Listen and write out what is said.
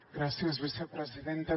gràcies vicepresidenta